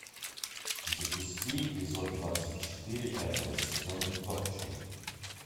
запусти эпизод двадцать четыре пятого сезона торчвуд